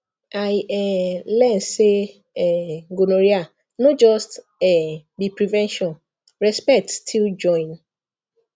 i um learn say um gonorrhea no just um be prevention respect still join